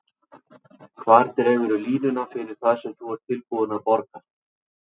Hvar dregurðu línuna fyrir það sem þú ert tilbúinn að borga?